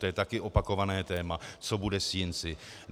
To je také opakované téma, co bude s Jinci.